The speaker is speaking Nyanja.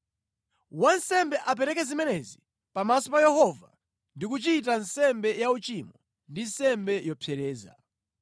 “Wansembe apereke zimenezi pamaso pa Yehova ndi kuchita nsembe ya uchimo ndi nsembe yopsereza.